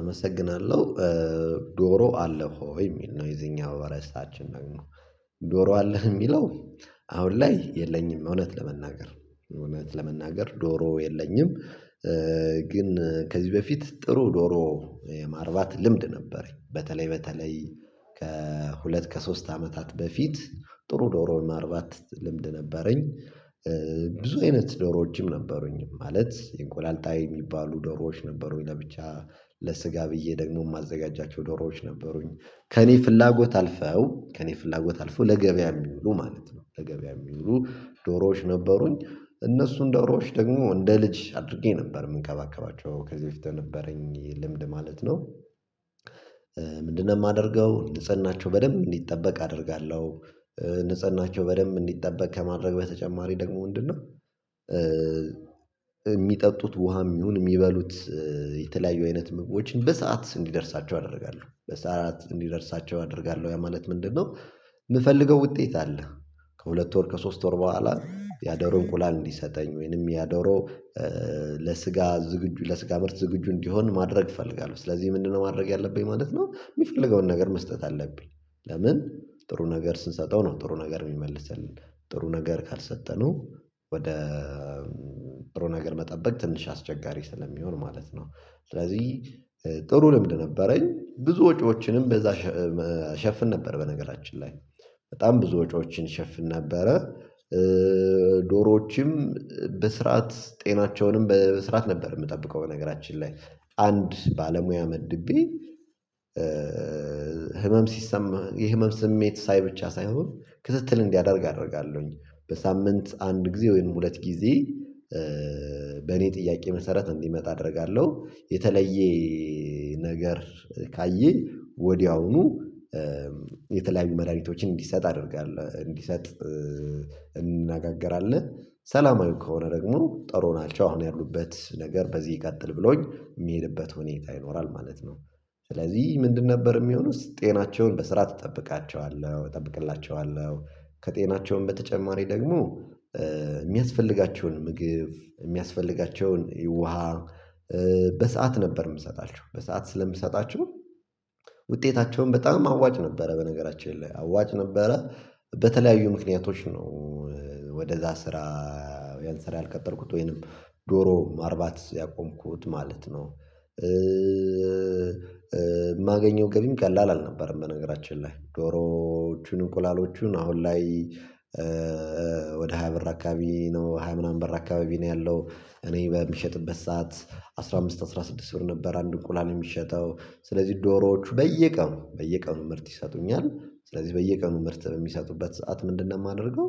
አመሰግናለሁ። ዶሮ አለህወይ የሚል ነው የዚህኛው ርሳችን ደግሞ ዶሮአለህ የሚለው አሁን ላይ የለኝም እውነት ለመናገር እውነት ለመናገር ዶሮ የለኝም። ግን ከዚህ በፊት ጥሩ ዶሮ የማርባት ልምድ ነበረኝ በተለይ በተለይ ከሁለት ከሶስት አመታት በፊት ጥሩ ዶሮም ማርባት ልምድ ነበረኝ። ብዙ አይነት ዶሮዎችም ነበሩኝ ማለት የእንቁላልጣይ የሚባሉ ዶሮዎች ነበሩኝ ለብቻ ለስጋ ብዬ ደግሞ የማዘጋጃቸው ዶሮዎች ነበሩኝ ከእኔ ፍላጎት አልፈው ከእኔ ፍላጎት አልፈው ለገበያ የሚውሉ ማለት ነው ለገበያ የሚውሉ ዶሮዎች ነበሩኝ። እነሱን ዶሮዎች ደግሞ እንደ ልጅ አድርጌ ነበር የምንከባከባቸው ከዚህ በፊት የነበረኝ የልምድ ማለት ነው። ምንድነው የማደርገው ንጽህናቸው በደንብ እንዲጠበቅ አደርጋለሁ። ንጽህናቸው በደንብ እንዲጠበቅ ከማድረግ በተጨማሪ ደግሞ ምንድነው የሚጠጡት ውሃም ይሁን የሚበሉት የተለያዩ አይነት ምግቦችን በሰአት እንዲደርሳቸው አደርጋለሁ በሰአት እንዲደርሳቸው አደርጋለሁ ያ ማለት ምንድነው? የምፈልገው ውጤት አለ ከሁለት ወር ከሶስት ወር በኋላ ያደሮ እንቁላል እንዲሰጠኝ ወይንም ያደሮ ለስጋ ዝግጁ ለስጋ ምርት ዝግጁ እንዲሆን ማድረግ እፈልጋለሁ። ስለዚህ ምንድነው ማድረግ ያለብኝ ማለት ነው የሚፈልገውን ነገር መስጠት አለብኝ። ለምን ጥሩ ነገር ስንሰጠው ነው ጥሩ ነገር የሚመልስልን ጥሩ ነገር ካልሰጠነው ወደ ጥሩ ነገር መጠበቅ ትንሽ አስቸጋሪ ስለሚሆን ማለት ነው። ስለዚህ ጥሩ ልምድ ነበረኝ ብዙ ወጪዎችንም በዛ እሸፍን ነበር በነገራችን ላይ በጣም ብዙ ወጪዎችን እሸፍን ነበረ። ዶሮዎችም በስርዓት ጤናቸውንም በስርዓት ነበር የምጠብቀው በነገራችን ላይ አንድ ባለሙያ መድቤ ህመም ሲሰማ የህመም ስሜት ሳይ ብቻ ሳይሆን ክትትል እንዲያደርግ አደርጋለሁኝ በሳምንት አንድ ጊዜ ወይም ሁለት ጊዜ በእኔ ጥያቄ መሰረት እንዲመጣ አደርጋለሁ። የተለየ ነገር ካየ ወዲያውኑ የተለያዩ መድሃኒቶችን እንዲሰጥ አደርጋለ እንዲሰጥ እንነጋገራለን ሰላማዊ ከሆነ ደግሞ ጥሩ ናቸው አሁን ያሉበት ነገር በዚህ ይቀጥል ብሎኝ የሚሄድበት ሁኔታ ይኖራል ማለት ነው። ስለዚህ ምንድን ነበር የሚሆነው ጤናቸውን በስርዓት እጠብቃቸዋለህ እጠብቅላቸዋለሁ። ከጤናቸውም በተጨማሪ ደግሞ የሚያስፈልጋቸውን ምግብ የሚያስፈልጋቸውን ውሃ በሰአት ነበር የምሰጣቸው በሰአት ስለምሰጣቸው ውጤታቸውን በጣም አዋጭ ነበረ በነገራችን ላይ አዋጭ ነበረ። በተለያዩ ምክንያቶች ነው ወደዛ ስራ ያንስራ ያልቀጠልኩት ወይንም ዶሮ ማርባት ያቆምኩት ማለት ነው። የማገኘው ገቢም ቀላል አልነበረም በነገራችን ላይ ዶሮዎቹን እንቁላሎቹን አሁን ላይ ወደ ሃያ ብር አካባቢ ነው ሃያ ምናምን ብር አካባቢ ነው ያለው እኔ በምሸጥበት ሰዓት አስራ አምስት አስራ ስድስት ብር ነበር አንዱ እንቁላል የሚሸጠው ስለዚህ ዶሮዎቹ በየቀኑ በየቀኑ ምርት ይሰጡኛል። ስለዚህ በየቀኑ ምርት በሚሰጡበት ሰዓት ምንድነው የማደርገው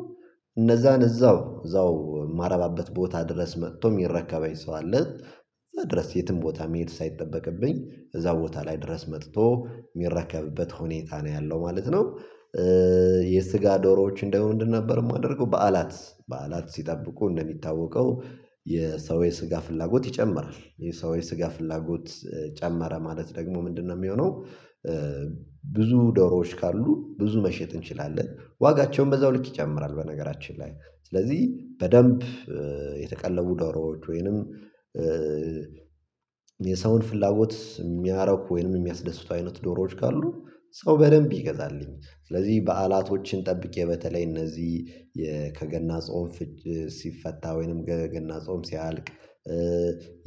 እነዛን እዛው እዛው የማረባበት ቦታ ድረስ መጥቶ የሚረከበኝ ሰው አለ ድረስ የትም ቦታ መሄድ ሳይጠበቅብኝ እዛ ቦታ ላይ ድረስ መጥቶ የሚረከብበት ሁኔታ ነው ያለው ማለት ነው። የስጋ ዶሮዎች ደግሞ ምንድንነበር የማደርገው በዓላት በዓላት ሲጠብቁ እንደሚታወቀው የሰው የስጋ ፍላጎት ይጨምራል የሰው የስጋ ፍላጎት ጨመረ ማለት ደግሞ ምንድነው የሚሆነው ብዙ ዶሮዎች ካሉ ብዙ መሸጥ እንችላለን ዋጋቸውን በዛው ልክ ይጨምራል። በነገራችን ላይ ስለዚህ በደንብ የተቀለቡ ዶሮዎች ወይንም የሰውን ፍላጎት የሚያረኩ ወይንም የሚያስደስቱ አይነት ዶሮዎች ካሉ ሰው በደንብ ይገዛልኝ ስለዚህ በዓላቶችን ጠብቄ በተለይ እነዚህ ከገና ጾምፍች ሲፈታ ወይንም ገገና ጾም ሲያልቅ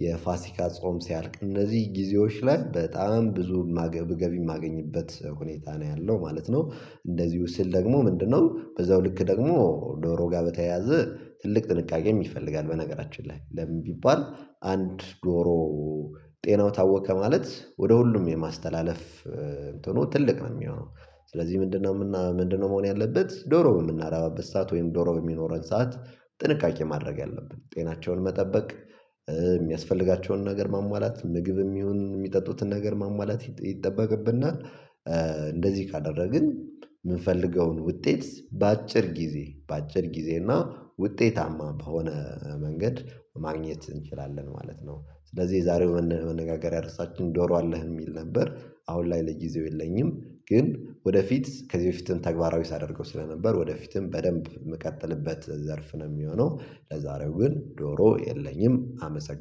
የፋሲካ ጾም ሲያልቅ እነዚህ ጊዜዎች ላይ በጣም ብዙ ማገብገቢ የማገኝበት ሁኔታ ነው ያለው ማለት ነው። እንደዚሁ ስል ደግሞ ምንድነው በዛው ልክ ደግሞ ዶሮ ጋር በተያያዘ ትልቅ ጥንቃቄም ይፈልጋል በነገራችን ላይ ለምን ቢባል አንድ ዶሮ ጤናው ታወከ ማለት ወደ ሁሉም የማስተላለፍ እንትኑ ትልቅ ነው የሚሆነው ስለዚህ ምንድነውምና ምንድነው መሆን ያለበት ዶሮ በምናረባበት ሰዓት ወይም ዶሮ በሚኖረን ሰዓት ጥንቃቄ ማድረግ ያለብን ጤናቸውን መጠበቅ የሚያስፈልጋቸውን ነገር ማሟላት ምግብም ይሁን የሚጠጡትን ነገር ማሟላት ይጠበቅብናል። እንደዚህ ካደረግን የምንፈልገውን ውጤት በአጭር ጊዜ በአጭር ጊዜ እና ውጤታማ በሆነ መንገድ ማግኘት እንችላለን ማለት ነው። ስለዚህ የዛሬው መነጋገሪያ ርሳችን ዶሮ አለህ የሚል ነበር። አሁን ላይ ለጊዜው የለኝም። ግን ወደፊት ከዚህ በፊትም ተግባራዊ ሳደርገው ስለነበር ወደፊትም በደንብ የምቀጥልበት ዘርፍ ነው የሚሆነው። ለዛሬው ግን ዶሮ የለኝም። አመሰግናለሁ